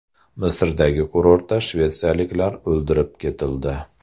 Misrdagi kurortda shvetsiyaliklar o‘ldirib ketildi.